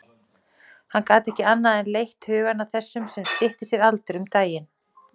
Hann gat ekki annað en leitt hugann að þessum sem stytti sér aldur um daginn.